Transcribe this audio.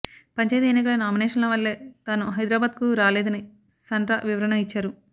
పంచాయతీ ఎన్నికల నామినేషన్ల వల్లే తాను హైదరాబాద్కు రాలేదని సండ్ర వివరణ ఇచ్చారు